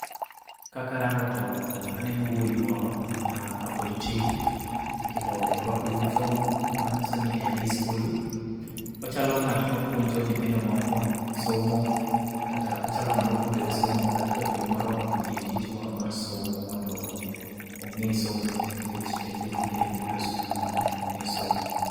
Ka karango to, aneno wuoyi moro mapod tin, kendo orwako yunifom manyiso ni en ei skul. Ochalo ng'at ma piuonjo nyithindo moko somo. Kata ochalo ng'ama puonjore somo kata japuonj moro omiye tich moro mar somo mondo ong'e somo nikech en japuonjre mobiro e skul mondo ong'e somo